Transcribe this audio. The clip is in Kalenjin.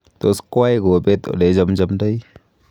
Tos koai kobet ole ichamchaindoi